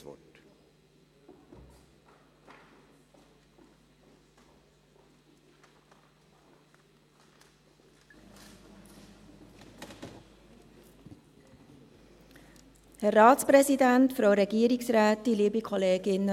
Das finanzielle Risiko (aufgelaufenes negatives Eigenkapital in Verbindung mit den geplanten künftigen Aufwandüberschüssen) für den Kanton Bern als Eigner muss umgehend reduziert werden.